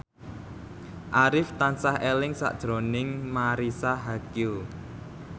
Arif tansah eling sakjroning Marisa Haque